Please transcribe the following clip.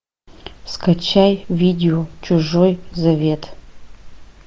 скачай видео чужой завет